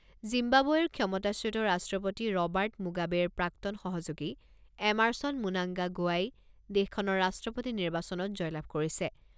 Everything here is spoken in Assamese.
জিম্বাবৱেৰ ক্ষমতাচ্যুত ৰাষ্ট্ৰপতি ৰবাৰ্ট মুগাবেৰ প্ৰাক্তন সহযোগী এমাৰছন মুনাংগা গোৱাই দেশখনৰ ৰাষ্ট্ৰপতি নিৰ্বাচনত জয়লাভ কৰিছে।